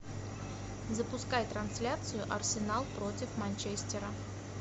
запускай трансляцию арсенал против манчестера